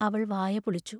അവൾ വായ പൊളിച്ചു.